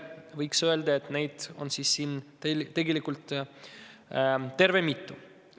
Võiks öelda, et neid on siin tegelikult mitu.